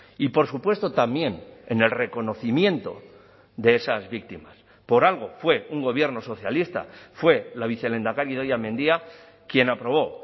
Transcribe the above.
y por supuesto también en el reconocimiento de esas víctimas por algo fue un gobierno socialista fue la vicelehendakari idoia mendia quien aprobó